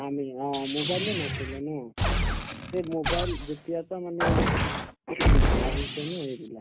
আমি অ mobile য়ে নাছিলে ন এই mobile যেতিয়াৰ পাই মানে এই আহিছে ন এইবিলাক